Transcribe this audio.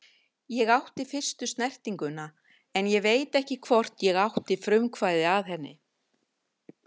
Ég átti fyrstu snertinguna en ég veit ekki hvort ég átti frumkvæðið að henni.